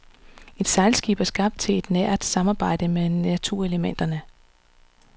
Et sejlskib er skabt til et nært samarbejde med naturelementerne.